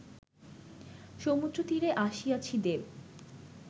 সমুদ্রতীরে আসিয়াছি-দেব!